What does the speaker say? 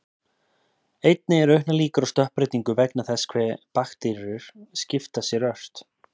Einnig eru auknar líkur á stökkbreytingu vegna þess hve bakteríur skipta sér ört.